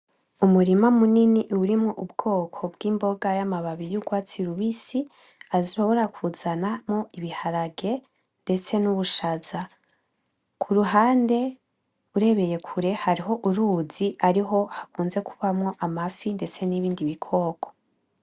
Umurima munini urimwo ubgoko bg'imboga yamababi yurwatsi rubisi ashobora kuzanamwo ibiharage ndetse n'ubushaza. Kuruhande urebeye kure hariho uruzi ariho hakunzemwo kubamwo amafi ndetse n'ibikoko.